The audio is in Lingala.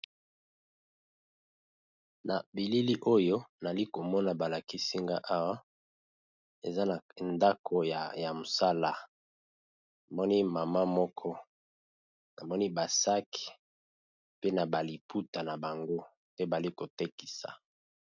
Na bilili oyo nali komona balakisinga awa eza na ndako ya mosala namoni mama moko namoni basake pe na baliputa na bango te bali kotekisa.